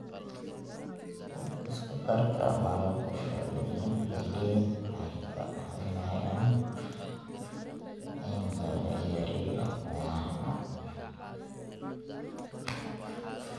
Isku darka malab iyo liin waxay kaa caawinayaan in laga yareeyo cunaha.